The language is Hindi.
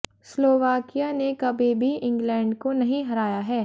स्लोवाकिया ने कभी भी इंग्लैंड को नहीं हराया है